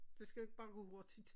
Det skal bare gå hurtigt